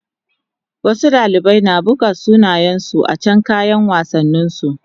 Wasu dalibai an buga sunansu a can kayan wassanin su